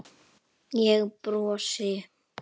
Ég brosi.